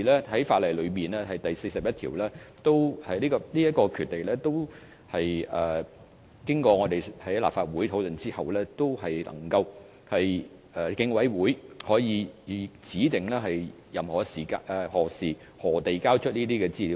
《條例》第41條所賦予的權力，是立法會經過討論後賦予競委會的權力，可指定何時或以甚麼方式提交這些資料。